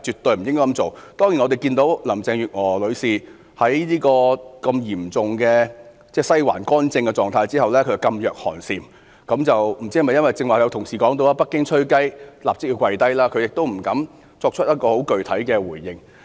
當然，我看到林鄭月娥女士在現時"西環干政"的嚴重狀態下，噤若寒蟬，不知道是否由於剛才同事所說，"北京'吹雞'，立即跪低"，而她亦不敢作出具體回應。